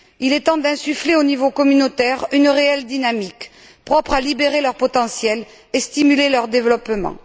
Il est temps d'insuffler au niveau communautaire une réelle dynamique propre à libérer leur potentiel et à stimuler leur développement.